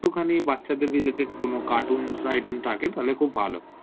একটুখানি বাচ্ছাদের কোনো related cartoons items তাইলে খুব ভালো